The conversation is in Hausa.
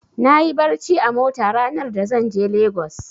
Nayi barci a mota ranar za zan je Lagos.